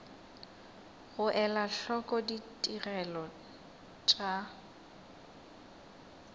go ela hloko ditigelo tša